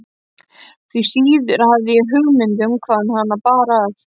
Því síður hafði ég hugmynd um hvaðan hana bar að.